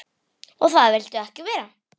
Og það viltu ekki verða.